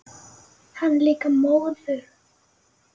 Hann er líka móður.